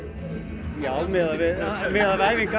já miðað við æfingar